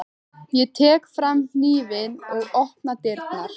Ég tek fram hnífinn og opna dyrnar.